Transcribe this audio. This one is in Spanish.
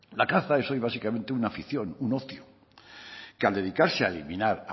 la caza es hoy básicamente una afición un ocio que al dedicarse a eliminar